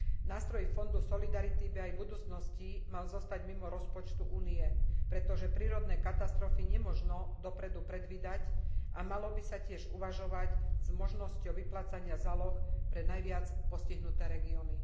Nástroj Fondu solidarity by aj v budúcnosti mal zostať mimo rozpočtu Únie, pretože prírodné katastrofy nemožno dopredu predvídať, a malo by sa tiež uvažovať o možnosti vyplácania záloh pre najviac postihnuté regióny.